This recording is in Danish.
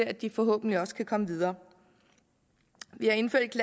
at de forhåbentlig også kan komme videre vi har indført et